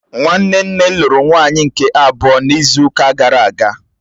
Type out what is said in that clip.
Nwanne nne lụrụ nwaanyị nke abụọ n'izu ụka gara aga